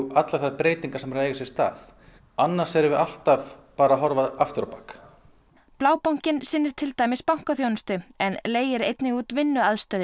allra þeirra breytingar sem eru að eiga sér stað annars erum við alltaf að horfa afturábak Blábankinn sinnir til dæmis bankaþjónustu en leigir einnig út vinnuaðstöðu